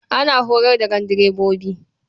Ana horar da gandirbobi.